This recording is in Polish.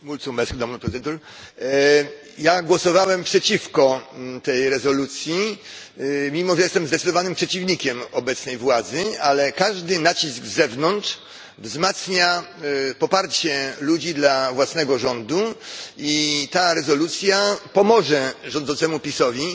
Panie Przewodniczący! Ja głosowałem przeciwko tej rezolucji, mimo że jestem zdecydowanym przeciwnikiem obecnej władzy. Ale każdy nacisk z zewnątrz wzmacnia poparcie ludzi dla własnego rządu i ta rezolucja pomoże rządzącemu PiS owi,